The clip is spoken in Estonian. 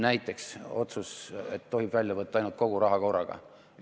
Näiteks otsus, et tohib välja võtta ainult kogu raha korraga.